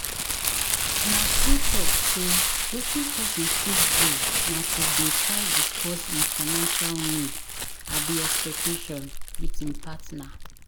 Na true talk sey wetin pesin fit do na to dey try discuss im financial need abi expectation with im partner.